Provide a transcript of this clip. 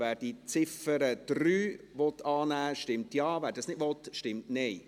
Wer die Ziffer 3 annehmen will, stimmt Ja, wer dies nicht will, stimmt Nein.